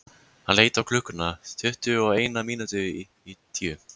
Hann leit á klukkuna: tuttugu og eina mínútu í tíu.